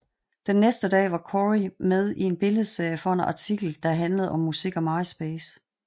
Den næste dag var Cory med i en billedserie for en artikel der handlede om musik og Myspace